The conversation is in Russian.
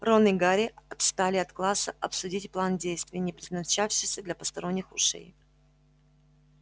рон и гарри отстали от класса обсудить план действий не предназначавшийся для посторонних ушей